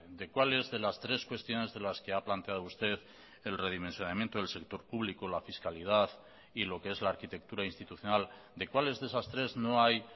de cuáles de las tres cuestiones de las que ha planteado usted el redimensionamiento del sector público la fiscalidad y lo que es la arquitectura institucional de cuáles de esas tres no hay